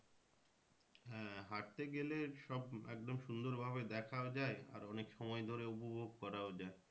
হ্যাঁ হাঁটতে গেলে সব একদম সুন্দর ভাবে দেখাও যায় আর অনেক সময় ধরে উপভোগ করাও যায়।